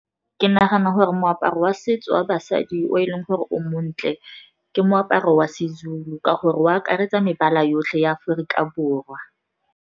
Ke nagana gore moaparo wa setso wa basadi o e leng gore o montle, ke moaparo wa Sezulu ka gore o akaretsa mebala yotlhe ya Aforika Borwa.